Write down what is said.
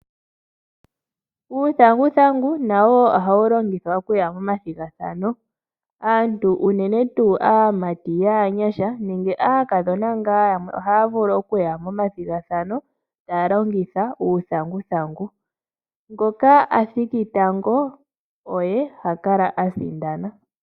Uuthanguthangu nawo ohawu longithwa okuya momathigathano. Aantu unene tuu aamati yaanyasha nenge aakadhona ngaa yamwe ohaya vulu okuya momathigathano taya longitha uuthanguthangu. Ngoka a thiki tango oye ha kala a sindana.